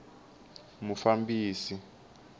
mufambisi